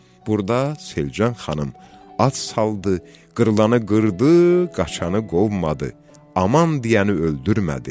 Burda Selcan xanım at saldı, qırılanı qırdı, qaçanı qovmadı, aman deyəni öldürmədi.